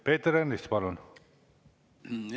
Peeter Ernits, palun!